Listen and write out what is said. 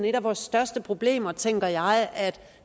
et af vores største problemer tænker jeg